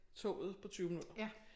Toget på 20 minutter